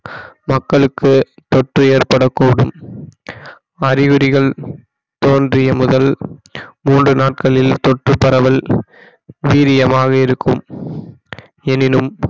மக்களுக்கு தொற்று ஏற்படக்கூடும் அறிகுறிகள் தோன்றிய முதல் மூன்று நாட்களில் தொற்று பரவல் வீரியமாக இருக்கும் எனினும்